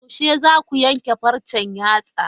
Yaushe zaku yanke farcen yatsa?